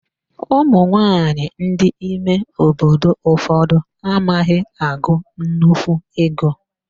Ụmụnwaanyị ndị ime obodo ụfọdụ amaghị agụ nnukwu ego